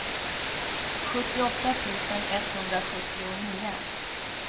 sjuttioåtta tusen etthundrasjuttionio